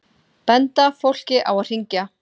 Benda fólki á að hringja